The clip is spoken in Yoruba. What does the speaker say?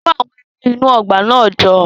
Kó àwọn ewé inú ọgbà náà jọ